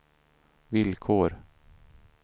villkor